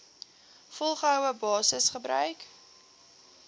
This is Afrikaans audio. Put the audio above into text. volgehoue basis gebruik